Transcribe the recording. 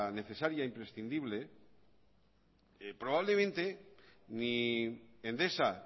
necesaria e imprescindible probablemente ni endesa